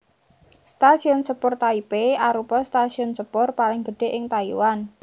Stasiun Sepur Taipei arupa stasiun sepur paling gedhé ing Taiwan